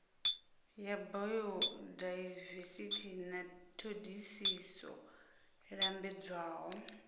ya bayodaivesithi na thodisiso lambedzwaho